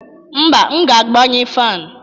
mba, m ga-agbanye fan